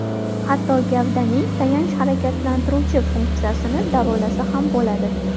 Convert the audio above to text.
Hatto gavdaning tayanch-harakatlantiruvchi funksiyasini davolasa ham bo‘ladi.